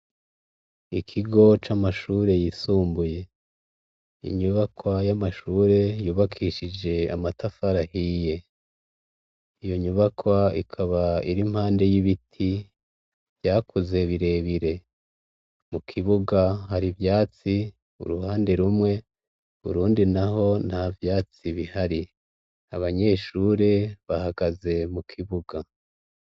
Ikigo c'amashure yisumbuye inyubakwa y'amashure yubakishije amatafarahiye iyo nyubakwa ikaba iri mpande y'ibiti vyakuze birebire mu kibuga hari ivyatsi uruhande rumwe urundi ri na ho nta vyatsi bihari abanyeshure bahagaze mu kibuga.